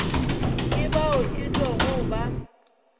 ke bao e tlogo ba